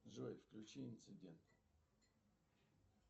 джой включи инцидент